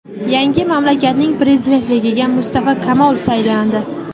Yangi mamlakatning prezidentligiga Mustafo Kamol saylandi.